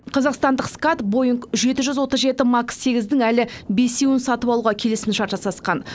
қазақстандық скат боинг жеті жүз отыз жеті макс сегіздің әлі бесеуін сатып алуға келісімшарт жасасқан